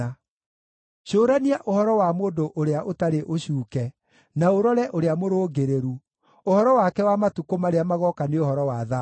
Cũrania ũhoro wa mũndũ ũrĩa ũtarĩ ũcuuke, na ũrore ũrĩa mũrũngĩrĩru, ũhoro wake wa matukũ marĩa magooka nĩ ũhoro wa thayũ.